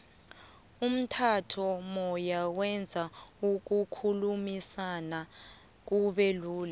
umtato moya wenza ukukhulumisana kube lula